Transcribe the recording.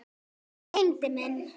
Tengdi minn.